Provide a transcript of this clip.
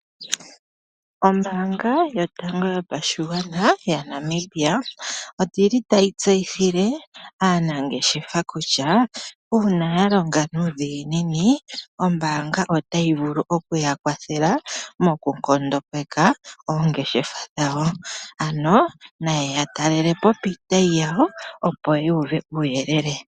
Ombaanga yotango yopashigwana yaNamibia, oyi li tayi tseyithile aanangeshefa kutya, uuna yalonga nuudhiginini, ombaanga otayi vulu okuya kwathela mokunkondopeka oongeshefa dhawo. Ano nayeya talelepo piitayi yawo, opo yu uve uuyelele.